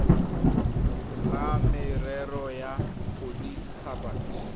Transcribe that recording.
la merero ya bodit habat